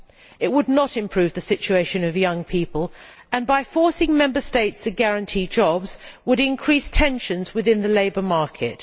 It would not improve the situation of young people and, by forcing Member States to guarantee jobs, would increase tensions within the labour market.